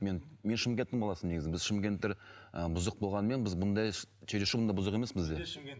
мен мен шымкенттің баласымын негізі біз шымкенттіктер ы бұзық болғанымен біз бұндай чересур бұндай бұзық емес бізде